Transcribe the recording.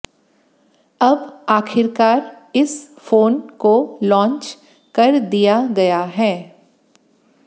अब आखिरकार इस फोन को लॉन्च कर दिया गया है